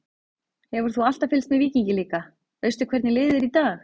Hefur þú alltaf fylgst með Víkingi líka, veistu hvernig liðið er í dag?